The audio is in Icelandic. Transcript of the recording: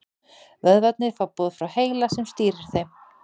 Vöðvarnir fá boð frá heila sem stýrir þeim.